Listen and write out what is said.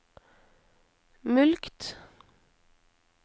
mulkt